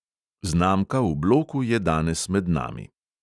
Znamka v bloku je danes med nami.